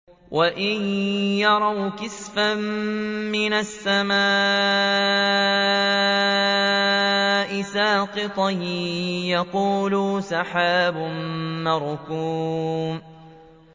وَإِن يَرَوْا كِسْفًا مِّنَ السَّمَاءِ سَاقِطًا يَقُولُوا سَحَابٌ مَّرْكُومٌ